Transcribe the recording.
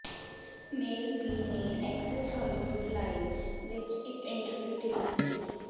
ਮੇਲ B ਨੇ Access Hollywood Live ਵਿਚ ਇਕ ਇੰਟਰਵਿਊ ਦੇ ਦਿੱਤੀ